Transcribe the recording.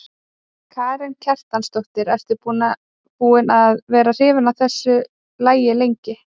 Karen Kjartansdóttir: Ertu búin að vera hrifin af þessu lagi lengi?